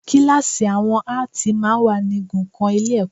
Kíláàsì àwọn Áàtì máa ń wà ní igun kan Ilé-ẹ̀kọ́